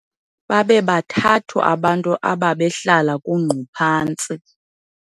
babebathathu abantu ababehlala kungquphantsi